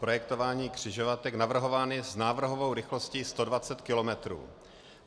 Projektování křižovatek navrhovány s návrhovou rychlostí 120 km.